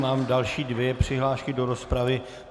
Mám další dvě přihlášky do rozpravy.